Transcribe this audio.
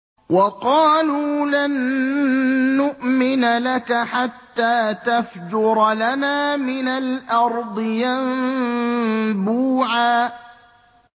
وَقَالُوا لَن نُّؤْمِنَ لَكَ حَتَّىٰ تَفْجُرَ لَنَا مِنَ الْأَرْضِ يَنبُوعًا